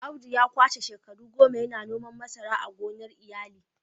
Audu ya kwashe shekaru goma yana noman masara a gonar iyali